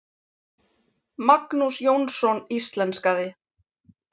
Magnús Jónsson íslenskaði.